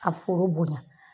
A fooro bonya